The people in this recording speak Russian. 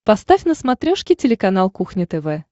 поставь на смотрешке телеканал кухня тв